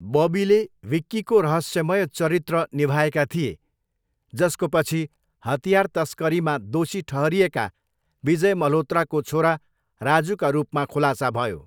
बबीले विक्कीको रहस्यमय चरित्र निभाएका थिए, जसको पछि हतियार तस्करीमा दोषी ठहरिएका विजय मल्होत्राको छोरा राजुका रूपमा खुलासा भयो।